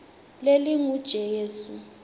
lelingujesu